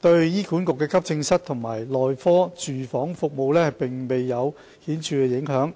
對醫管局的急症室及內科住院服務並未有顯著影響。